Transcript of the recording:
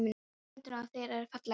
Hárin á höndunum á þér eru falleg.